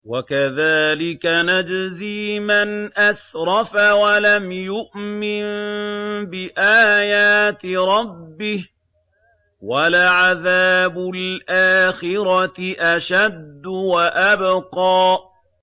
وَكَذَٰلِكَ نَجْزِي مَنْ أَسْرَفَ وَلَمْ يُؤْمِن بِآيَاتِ رَبِّهِ ۚ وَلَعَذَابُ الْآخِرَةِ أَشَدُّ وَأَبْقَىٰ